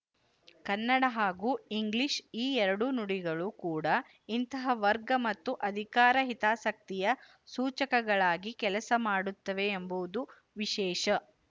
ಕನ್ನಡ ಹಾಗೂ ಇಂಗ್ಲಿಶು ಈ ಎರಡೂ ನುಡಿಗಳು ಕೂಡ ಇಂತಹ ವರ್ಗ ಮತ್ತು ಅಧಿಕಾರ ಹಿತಾಸಕ್ತಿಯ ಸೂಚಕಗಳಾಗಿ ಕೆಲಸ ಮಾಡುತ್ತವೆ ಎಂಬುದು ವಿಶೇಶ